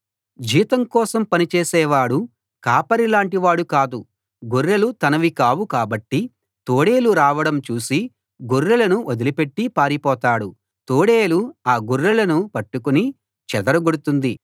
జీతం కోసం పని చేసేవాడు కాపరిలాంటి వాడు కాదు గొర్రెలు తనవి కావు కాబట్టి తోడేలు రావడం చూసి గొర్రెలను వదిలిపెట్టి పారిపోతాడు తోడేలు ఆ గొర్రెలను పట్టుకుని చెదరగొడుతుంది